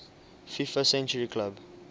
fifa century club